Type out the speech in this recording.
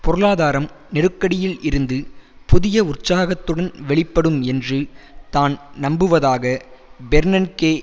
பொருளாதாரம் நெருக்கடியில் இருந்து புதிய உற்சாகத்துடன் வெளிப்படும் என்று தான் நம்புவதாக பெர்னன்கே